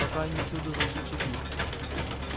пока они всюду зашли в тупик